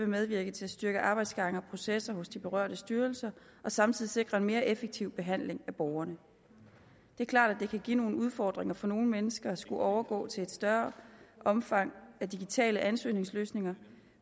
medvirke til at styrke arbejdsgange og processer hos de berørte styrelser og samtidig sikre en mere effektiv behandling af borgerne det er klart at det kan give nogle udfordringer for nogle mennesker at skulle overgå til et større omfang af digitale ansøgningsløsninger